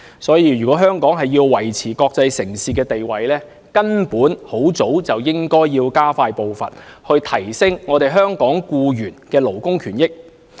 所以，如果香港要維持國際城市的地位，根本早應加快步伐，提升香港僱員的勞工權益。